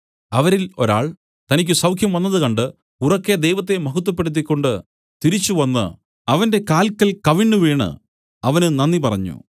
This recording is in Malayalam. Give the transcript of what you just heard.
അവരിൽ ഒരാൾ തനിക്കു സൌഖ്യംവന്നത് കണ്ട് ഉറക്കെ ദൈവത്തെ മഹത്വപ്പെടുത്തിക്കൊണ്ട് തിരിച്ചുവന്നു അവന്റെ കാൽക്കൽ കവിണ്ണുവീണു അവന് നന്ദി പറഞ്ഞു